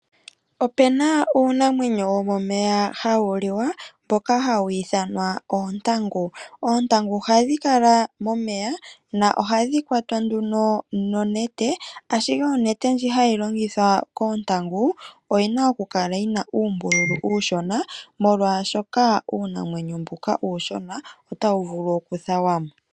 Opuna uunamwenyo wo momeya hawu liwa , mboka hawu ithanwa oontangu. Oontangu ohadhi kala momeya noha dhi kwatwa nonete, ashike onete ndjoka hayi longithwa oku kwata oontangu, oyina oku kala yina uumbululu uushona, molwaashoka uunamwenyo mbuka uushona , ota wu vulu oku thawamo.